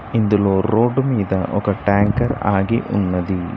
ఇందులో రోడ్డు మీద ఒక ట్యాంకర్ ఆగి ఉన్నది.